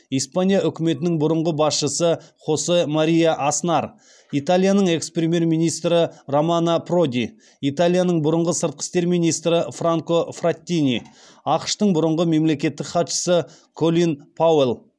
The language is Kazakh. испания үкіметінің бұрынғы басшысы хосе мария аснар италияның экс премьер министрі романо проди италияның бұрынғы сыртқы істер министрі франко фраттини ақш тың бұрынғы мемлекеттік хатшысы колин пауэлл